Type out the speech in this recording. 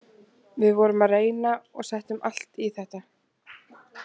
Við vorum að reyna og settum allt í þetta.